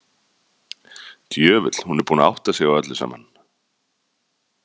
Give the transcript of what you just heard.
Djöfull, hún er búin að átta sig á öllu saman.